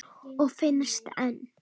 Og finnst enn.